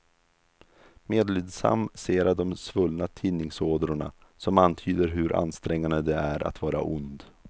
Medlidsam ser jag de svullna tinningådrorna, som antyder hur ansträngande det är att vara ond.